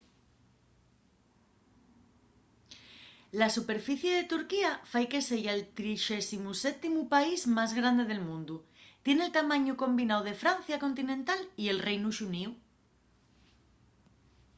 la superficie de turquía fai que seya'l 37u país más grande del mundu tien el tamañu combináu de francia continental y del reinu xuníu